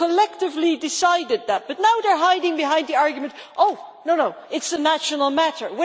They collectively decided that, but now they are hiding behind the argument that it is a national matter.